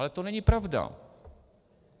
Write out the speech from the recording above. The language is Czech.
Ale to není pravda.